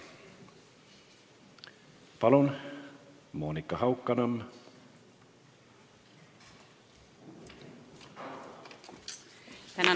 Palun, Monika Haukanõmm!